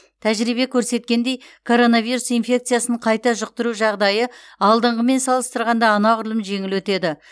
тәжірибе көрсеткендей коронавирус инфекциясын қайта жұқтыру жағдайы алдыңғымен салыстырғанда анағұрлым жеңіл өтеді